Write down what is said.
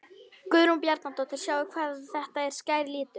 Guðrún Bjarnadóttir: Sjáið hvað þetta er skær litur?